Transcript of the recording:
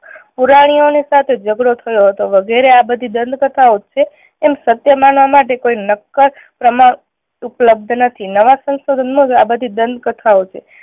પુરાણીઓ ની સાથે ઝગડો થયો હતો વગેરે આ બધી દંત કથાઓ જ છે એમ સત્ય માનવા માટે કોઈ નક્કર પ્રમાણ ઉપલબ્ધ નથી. નવા સંશોધન માં આ બધી દંત કથાઓ છે.